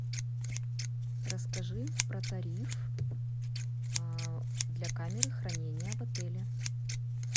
расскажи про тариф для камеры хранения в отеле